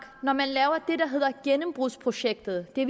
når man laver det der hedder gennembrudsprojektet det